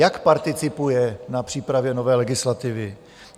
Jak participuje na přípravě nové legislativy?